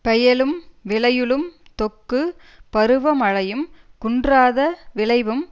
பெயலும் விளையுளும் தொக்கு பருவமழையும் குன்றாத விளைவும்